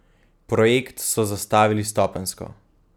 Projekt so zastavili stopenjsko.